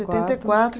quatro. Setenta e quatro